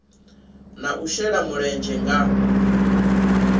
na u shela mulenzhe nga